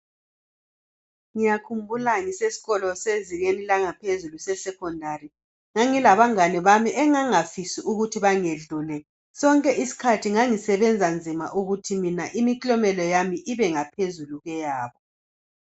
Ngiyakhumbula ngisesikolo sezingeni eliphezulu esekhondari. Ngangilabangane bami engangingafisi ukuthi bangedlule. Sonke isikhathi ngangisebenza nzima ukuthi imiklomelo yami ibephezu kweyabo.